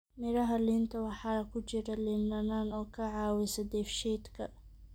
Miraha liinta waxaa ku jira liin dhanaan oo ka caawisa dheefshiidka.